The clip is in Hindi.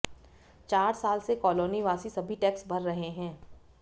चार साल से कॉलोनी वासी सभी टैक्स भर रहे हैं